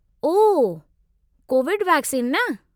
ओह, Covid vaccine न?